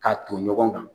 K'a ton ɲɔgɔn kan